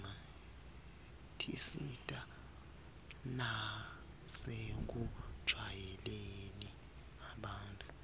tisita nasekujwayeleni abantfu